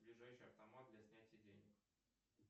ближайший автомат для снятия денег